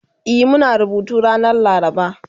E Muna rubutu ranar laraba